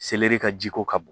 ka jiko ka bɔn